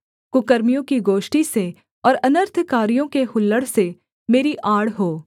कुकर्मियों की गोष्ठी से और अनर्थकारियों के हुल्लड़ से मेरी आड़ हो